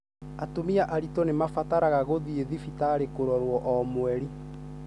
Atumia aritũ nĩ marabatara gũthĩi thibitarĩ kũrorwo o mweri.